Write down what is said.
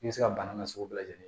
I bɛ se ka bana nasugu bɛɛ lajɛlen